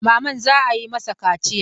Mamman za a yi ma mashi kaciya.